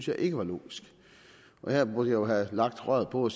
jeg ikke var logisk og her burde jeg jo have lagt røret på og